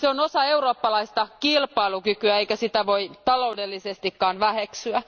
Se on osa eurooppalaista kilpailukykyä, eikä sitä voi taloudellisestikaan väheksyä.